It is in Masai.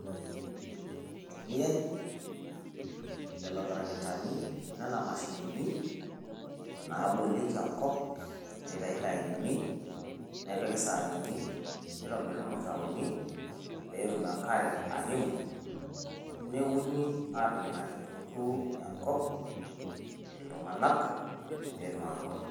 Keitumiyai lelo tarakitani o nena mashinini naabolieki enkop, neitayuni sahanini neitayuni ilmutaroni pee etum enkare aimu neuni aatur ake duo enkop iltung`anak pee etum atubulu.